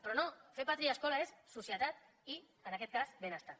però no fer pàtria i escola és societat i en aquest cas benestar